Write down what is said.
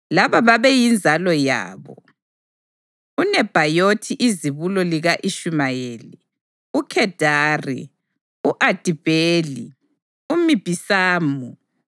Laba babeyinzalo yabo: uNebhayothi izibulo lika-Ishumayeli, uKhedari, u-Adibheli, uMibhisamu,